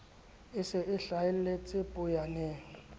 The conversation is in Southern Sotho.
e se e hlahelletse poyaneng